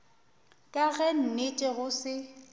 ka ge nnete go se